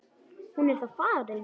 Hún er þá farin.